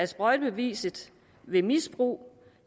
sprøjtebeviset ved misbrug